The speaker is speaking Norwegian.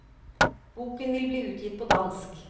Boken vil bli utgitt på dansk.